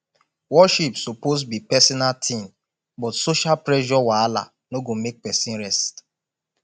worship suppose be pesinal tin but social pressure wahala no go make pesin rest